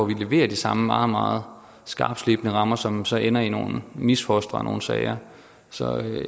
levere de samme meget meget skarptslebne rammer som så ender i nogle misfostre af nogle sager så